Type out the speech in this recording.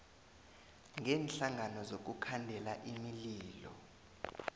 kweenhlangano zokukhandela imililo